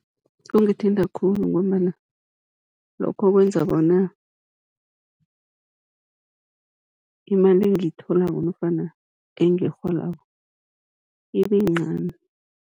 Kungithinta khulu, ngombana lokho kwenza bona imali engiyitholako nofana engiyirholako ibe yincani.